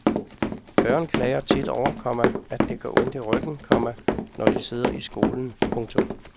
Børn klager tit over, komma at det gør ondt i ryggen, komma når de sidder i skolen. punktum